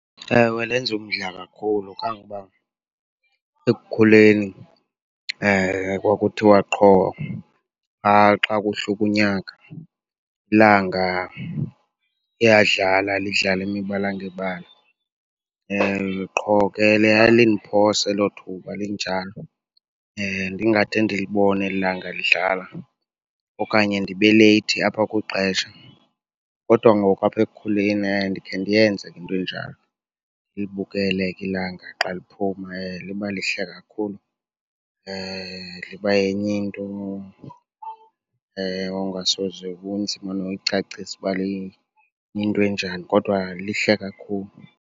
Ewe lenza umdla kakhulu kangoba ekukhuleni kwakuthiwa qho xa kuhluka unyaka ilanga liyadlala, lidlale imibala ngebala. Qho ke lalindiphosa elo thuba linjalo, ndingade ndilibone eli langa lidlala okanye ndibe leyithi apha kwixesha. Kodwa ngoku apha ekukhuleni ndikhe ndiyenze ke into enjalo, ndilibukele ke ilanga xa liphuma. Liba lihle kakhulu, liba yenye into ongasoze, kunzima noyicacisa uba liyinto enjani kodwa lihle kakhulu.